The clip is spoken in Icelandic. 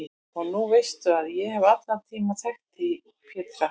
Og nú veistu að ég hef allan tímann þekkt þig Pétur.